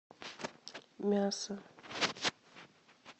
мясо